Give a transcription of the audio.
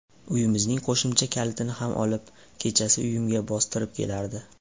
Uyimizning qo‘shimcha kalitini ham olib, kechasi uyimga bostirib kelardi.